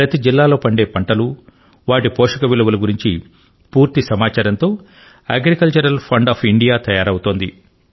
ప్రతి జిల్లాలో పండే పంటలు వాటి పోషక విలువ ను గురించి పూర్తి సమాచారంతో అగ్రికల్చరల్ ఫండ్ ఆఫ్ ఇండియా తయారవుతోంది